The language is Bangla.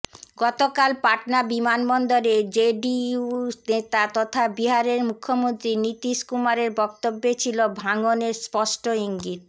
গতকাল পাটনা বিমানবন্দরে জেডিইউ নেতা তথা বিহারের মুখ্যমন্ত্রী নীতীশ কুমারের বক্তব্যে ছিল ভাঙনের স্পষ্ট ইঙ্গিত